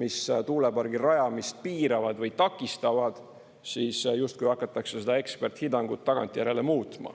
mis tuulepargi rajamist piiravad või takistavad, siis justkui hakatakse seda eksperthinnangut tagantjärele muutma.